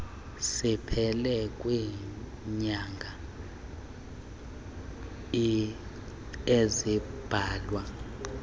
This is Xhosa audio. siphele kwiinyanga ezimbalwa